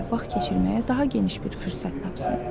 Gülzar ilə vaxt keçirməyə daha geniş bir fürsət tapsın.